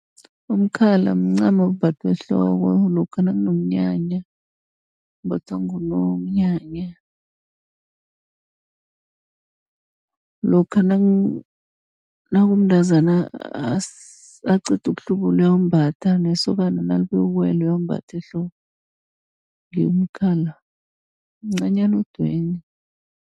Umkhala mncamo ombathwa ehloko lokha nakunomnyanya, umbathwa ngunomnyanya. Lokha nakumntazana aqeda ukuhlubula uyawumbatha, nesokana nalibuya ukuyokuwela uyawumbatha ehloko. umkhala mncanyana odweni.